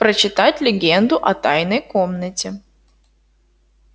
прочитать легенду о тайной комнате